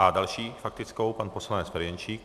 A další faktickou pan poslanec Ferjenčík.